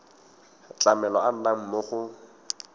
tlamelo a nnang mo go